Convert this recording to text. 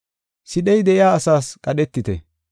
Sidhey de7iya asaas qadhetite.